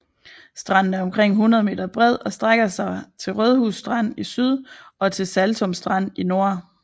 Stranden er omkring 100 m bred og strækker sig til Rødhus Strand i syd og til Saltum Strand i nord